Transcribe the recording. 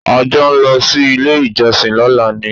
A jọ ń lọ sí ilé-ìjọsìn lọ́la ni.